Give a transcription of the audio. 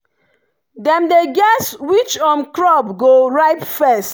dem dey guess which um crop go ripe first.